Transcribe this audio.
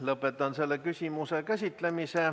Lõpetan selle küsimuse käsitlemise.